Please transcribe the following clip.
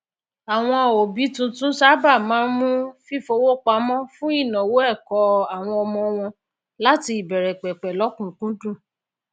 àwọn òbí tuntun sáabà máa n mú fífowó pamọ fún ìnáwó ẹkọ àwọn ọmọ wọn láti ìbẹrẹpẹpẹ lọkùnunkúndùn